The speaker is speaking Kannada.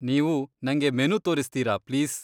ನೀವು ನಂಗೆ ಮೆನು ತೋರಿಸ್ತೀರಾ ಪ್ಲೀಸ್?